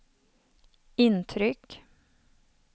intryck